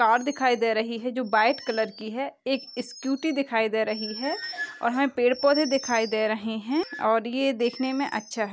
Car दिखाई दे रही है जो बाइट कलर की है एक स्कूटी दिखाई दे रही है और हमे पेड़ पौधे दिखाई दे रहे है और ये देखने में अच्छा है।